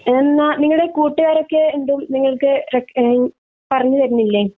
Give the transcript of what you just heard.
എന്ന നിങ്ങളുടെ കുട്ടുകാർ ഒക്കെ എന്താ നിങ്ങൾക് എഹ് പറഞ്ഞു